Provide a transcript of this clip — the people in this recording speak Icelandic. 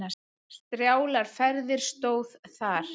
Strjálar ferðir stóð þar.